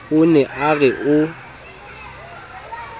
o ne a re o